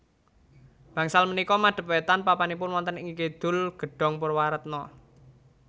Bangsal punika madep wétan papanipun wonten ing Kidul Gedhong Purwaretna